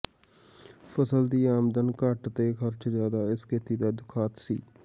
ਫ਼ਸਲ ਦੀ ਆਮਦਨ ਘੱਟ ਤੇ ਖ਼ਰਚ ਜ਼ਿਆਦਾ ਇਸ ਖੇਤੀ ਦਾ ਦੁਖਾਂਤ ਸੀ